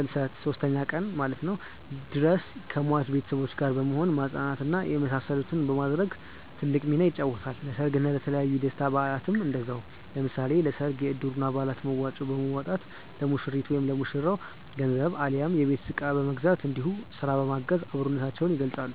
ሰልስት (ሶስተኛ ቀን) ድረስ ከሟች ቤተሰቦች ጋር በመሆን ማፅናናት እና የመሳሰሉትን በማድረግ ትልቅ ሚናን ይጫወታል። ለሰርግ እና የተለያዩ የደስታ በአላትም እንደዛው። ለምሳሌ ለሰርግ የእድሩ አባላት መዋጮ በማዋጣት ለሙሽሪት/ ለሙሽራው ገንዘብ አሊያም የቤት እቃ በመግዛት እንዲሁም ስራ በማገዝ አብሮነታቸውን ይገልፃሉ።